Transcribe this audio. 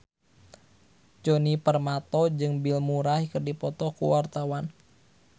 Djoni Permato jeung Bill Murray keur dipoto ku wartawan